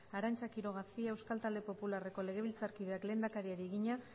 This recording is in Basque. arantza quiroga cia euskal talde popularreko legebiltzarkideak lehendakariari egina